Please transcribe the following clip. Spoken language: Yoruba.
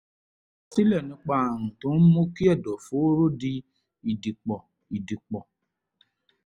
àkọsílẹ̀ nípa ààrùn tó ń mú kí ẹ̀dọ̀fóró di ìdìpọ̀ ìdìpọ̀